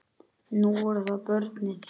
Nú voru það börnin.